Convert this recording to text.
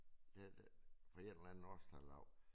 Der fra et eller andet årstal af